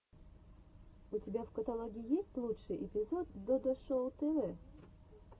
у тебя в каталоге есть лучший эпизод додо шоу тв